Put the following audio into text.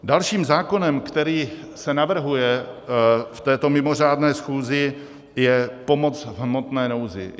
Dalším zákonem, který se navrhuje v této mimořádné schůzi, je pomoc v hmotné nouzi.